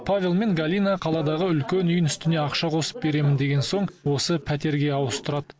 павел мен галина қаладағы үлкен үйінің үстіне ақша қосып беремін деген соң осы пәтерге ауыстырады